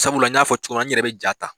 Sabula n y'a fɔ cogomina n yɛrɛ bɛ ja ta.